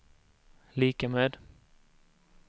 lika med